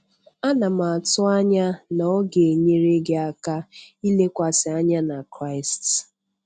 Ana m atụ anya na ọ ga-enyere gị aka ịlekwasị anya na Kraịst.